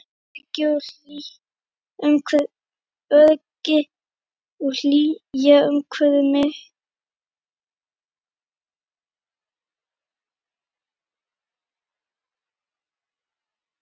Öryggi og hlýja umvefja mig.